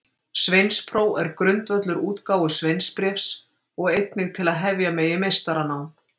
Sveinspróf er grundvöllur útgáfu sveinsbréfs og einnig til að hefja megi meistaranám.